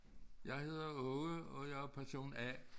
Jeg hedder Åge og jeg er person A